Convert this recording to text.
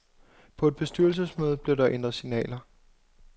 På et bestyrelsesmøde blev der ændret signaler.